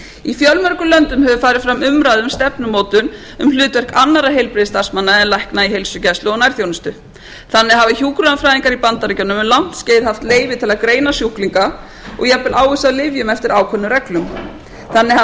í fjölmörgum löndum hefur farið fram umræða um stefnumótun um hlutverk annarra heilbrigðisstarfsmanna en lækna í heilsugæslu og nærþjónustu þannig hafa hjúkrunarfræðingar í bandaríkjunum um langt skeið haft leyfi til að greina sjúklinga og jafnvel ávísa lyfjum eftir ákveðnum reglum þannig